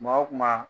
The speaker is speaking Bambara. Kuma o kuma